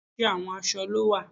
Oríṣiríṣi àwọn aṣọ ló wà